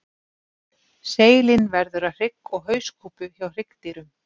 Seilin verður að hrygg og hauskúpu hjá hryggdýrum.